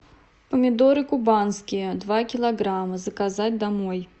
помидоры кубанские два килограмма заказать домой